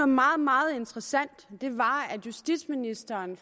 meget meget interessant det var at justitsministeren